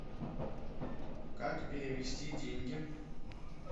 как перевести деньги